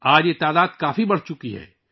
آج اس تعداد میں نمایاں اضافہ ہوا ہے